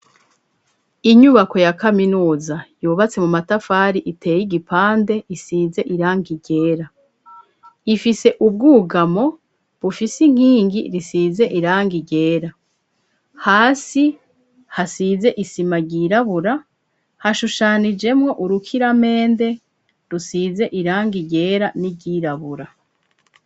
Inyubako ya kaminuza yubatse mu matafari iteye igipande isize irangi ryera ifise ubwugamo bufise inkingi risize iranga ryera hasi hasize isima ryirabura hashushanijemwo urukiramende rusize iranga ryera n'iryirabura.